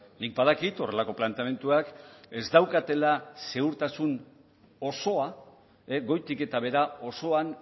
nik badakit horrelako planteamenduak ez daukatela segurtasun osoa goitik eta behera osoan